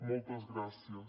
moltes gràcies